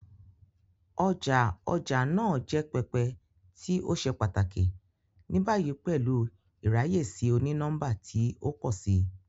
Ọja ọja naa jẹ pẹpẹ ti o ṣe pataki, ni bayi pẹlu iraye si oni-nọmba ti o pọ si.